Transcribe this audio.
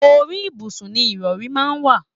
Orí ibùsùn ni ìrọ̀rí máa ń wà.